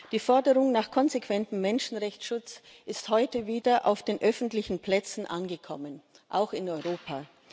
Die Forderung nach konsequentem Menschenrechtsschutz ist heute wieder auf den öffentlichen Plätzen angekommen, auch in Europa.